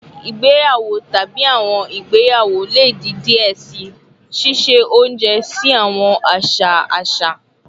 Igbeyawo tabi awọn igbeyawo le di diẹ sii, ṣiṣe ounjẹ si awọn aṣa aṣa